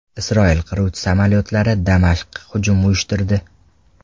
Isroil qiruvchi samolyotlari Damashqqa hujum uyushtirdi .